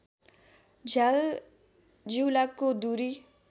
झ्याल जिउलाको दुरी